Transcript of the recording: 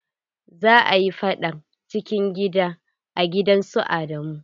Za a yi faɗar cikin gida a gidan su Adamu.